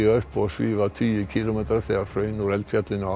upp og svífa tugi kílómetra þegar hraun úr eldfjallinu á